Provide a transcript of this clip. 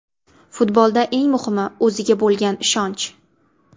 Futbolda eng muhimi o‘ziga bo‘lgan ishonch.